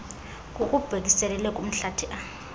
ngokubhekiselele kumhlathi a